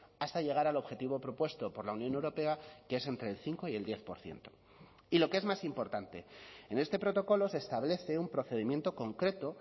hasta llegar al objetivo propuesto por la unión europea que es entre el cinco y el diez por ciento y lo que es más importante en este protocolo se establece un procedimiento concreto